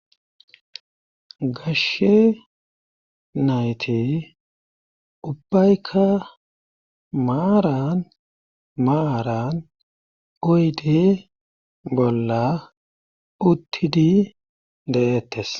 gashe nayti ubbaykka maaran maaran oydi bolla uttidi de7ettes